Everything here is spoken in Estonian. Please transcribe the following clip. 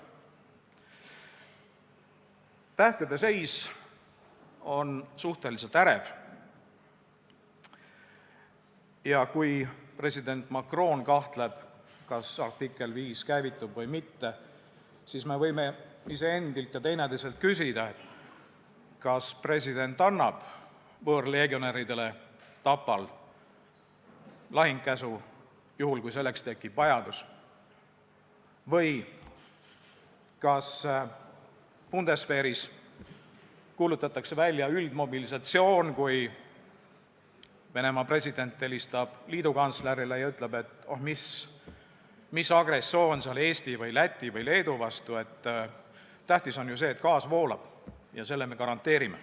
Tähtede seis on suhteliselt ärev ja kui president Macron kahtleb, kas artikkel 5 käivitub või mitte, siis me võime iseendalt ja teineteiselt küsida, kas president annab võõrleegionäridele Tapal lahingukäsu, kui selleks tekib vajadus, või kas bundesveeris kuulutatakse välja üldmobilisatsioon, kui Venemaa president helistab liidukantslerile ja ütleb, et oh, no mis agressioon see oli Eesti või Läti või Leedu vastu, tähtis on ju see, et gaas voolab, ja selle me garanteerime.